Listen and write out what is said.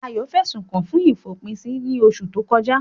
Ayo fẹ̀sùn kàn án fún ìfòpinsí ní oṣù tó kọjá.